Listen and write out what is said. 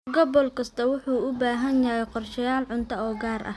Gobol kastaa wuxuu u baahan yahay qorshayaal cunto oo gaar ah.